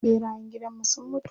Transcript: ɓerayen gidanmu sun mutu.